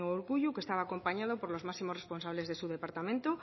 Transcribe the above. urkullu que estaba acompañado por los máximos responsables de su departamento